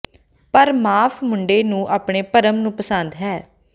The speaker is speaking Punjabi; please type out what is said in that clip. ਪਰ ਮਾਫ਼ ਮੁੰਡੇ ਨੂੰ ਆਪਣੇ ਭਰਮ ਨੂੰ ਪਸੰਦ ਹੈ